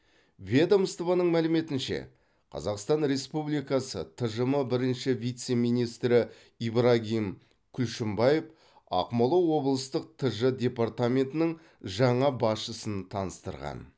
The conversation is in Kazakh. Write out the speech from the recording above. ведомствоның мәліметінше қазақстан республикасы тжм бірінші вице министрі ибрагим күлшімбаев ақмола облыстық тж департаментінің жаңа басшысын таныстырған